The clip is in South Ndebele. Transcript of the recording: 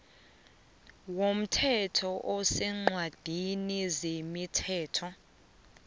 womthetho oseencwadini zemithetho